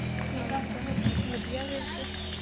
ਠੀਕ ਆ ਵਧੀਆ ਫਿਰ ਤੇ